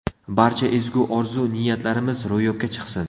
Barcha ezgu orzu-niyatlarimiz ro‘yobga chiqsin!